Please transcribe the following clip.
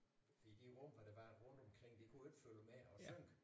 I de rum hvor der var rundt omkring de kunne jo ikke følge med og synke